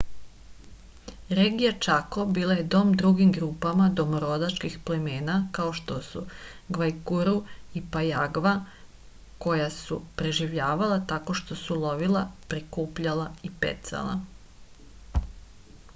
regija čako bila je dom drugim grupama domorodačkih plemena kao što su gvajkuru i pajagva koja su preživljavala tako što su lovila prikupljala i pecala